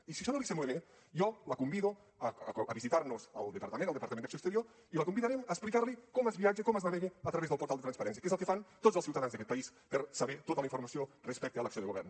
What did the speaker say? i si això no li sembla bé jo la convido a visitar nos al departament al departament d’acció exterior i la convidarem a explicar li com es viatja com es navega a través del portal de transparència que és el que fan tots els ciutadans d’aquest país per saber tota la informació respecte a l’acció de govern